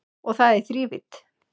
Og það í þrívídd